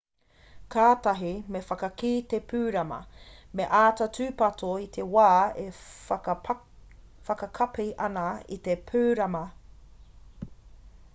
kātahi me whakakī te pūrama me āta tūpato i te wā e whakakapi ana i te pūrama